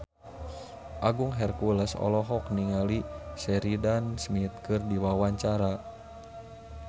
Agung Hercules olohok ningali Sheridan Smith keur diwawancara